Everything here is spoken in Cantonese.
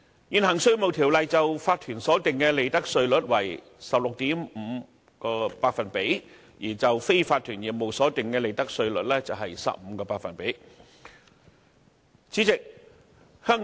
現行《稅務條例》就法團所定的利得稅率為 16.5%， 而就非法團業務所定的利得稅率則為 15%。